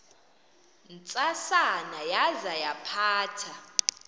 ntsasana yaza yaphatha